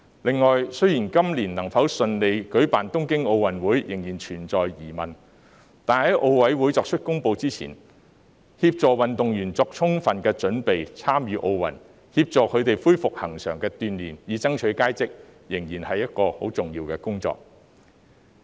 此外，雖然東京奧運會今年能否順利舉行仍然存在疑問，但在奧林匹克委員會作出公布前，協助運動員為參與奧運作充分準備、恢復恆常鍛鍊，以爭取佳績，仍然是一項十分重要的工作。